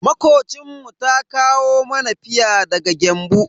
Makocinmu ta kawo mana fia daga Gembu.